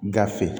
Gafe